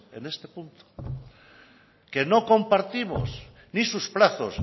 en este punto que no compartimos ni sus plazos